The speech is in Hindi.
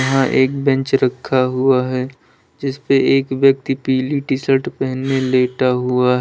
यहां एक बेंच रखा हुआ है जिस पे एक व्यक्ति पीली टी-शर्ट पहने लेटा हुआ --